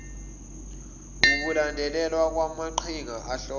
ukulandelelwa kwamaqhinga ahlose